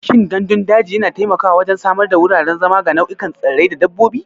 Shin gandun daji yana taimakawa wajen samar da wuraren zama ga nau'ikan tsirrai da dabbobi?